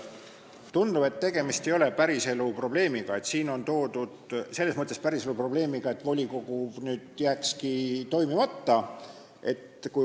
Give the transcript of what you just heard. Tundub, et tegemist ei ole päriselu probleemiga, selles mõttes, et volikogu ei saakski toimida.